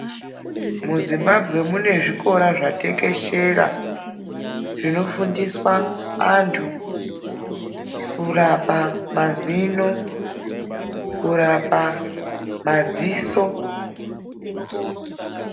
MuZimbabwe munezvikora zvatekeshera zvinofundiswa antu kurapa mazino, kurapa madziso.